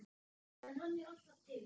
En hann er alltaf til.